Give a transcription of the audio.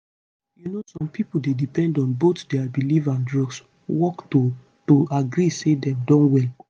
you know some pipo dey depend on both dia belief and drugs work to to agree say dem don well